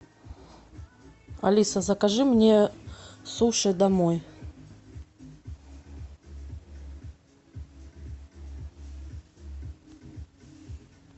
алиса закажи мне суши домой